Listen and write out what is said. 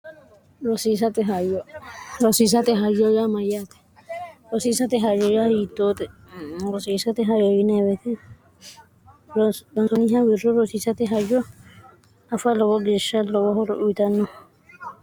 osiisate hayoya mayyaate rosiisate hayoya hiyittoote rosiisate hayo yineewete donsooniha wirro rosiisate hayyo afa lowo geeshsha lowohoro uyitanno